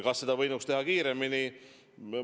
Kas seda võinuks teha kiiremini?